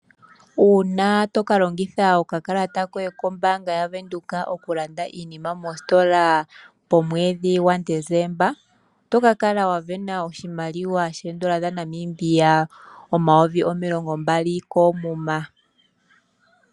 Uuna toka longitha okakalata koye kombaanga yaVenduka okulanda iinima moositola momwedhi gwaDezemba, oto ka kala sindana oshimaliwa shoodolla dhaNamibia omayovi omilongo mbali koomuma.